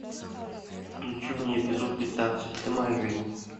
включи мне эпизод пятнадцать ты моя жизнь